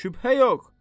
Şübhə yox.